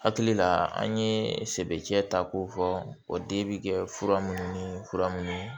Hakili la an ye sɛ ta k'o fɔ o den bi kɛ fura minnu ni fura minnu